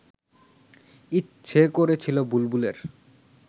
ইচ্ছে করছিল বুলবুলের